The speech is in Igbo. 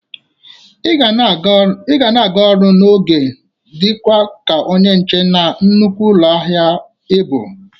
Ị ga na-aga ọrụ n'oge dịka onye nche na nnukwu ụlọ ahịa ị bụ!